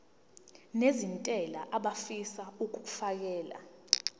nezentela abafisa uukfakela